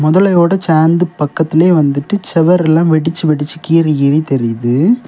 முதலையோட சேந்து பக்கத்துலயே வந்துட்டு செவரெல்லாம் வெடிச்சு வெடிச்சு கீறி கீறி தெரியுது.